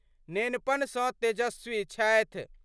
नेनपन स तेजस्वी छथि।